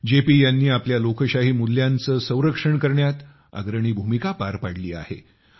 JP यांनी आपल्या लोकशाही मूल्यांचे संरक्षण करण्यात अग्रणी भूमिका पार पाडली आहे